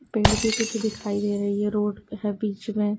पेड़ भी कुछ दिखाई दे रही है रोड भी है बीच में।